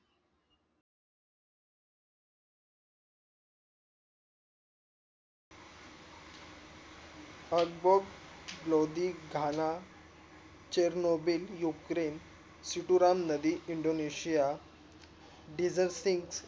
आधबोड Lodhi Ghana chernobyl ukraine चिटूरा नदी indonesiandigesting